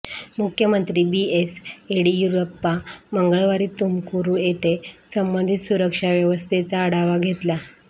मुख्यमंत्री B S Yediyurappa मंगळवारी तुमकुरू येथे संबंधित सुरक्षा व्यवस्थेचा आढावा घेतला